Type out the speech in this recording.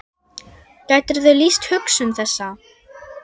Gætirðu lýst hugsun þessa?